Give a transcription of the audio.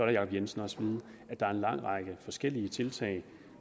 jacob jensen også vide at der er en lang række forskellige tiltag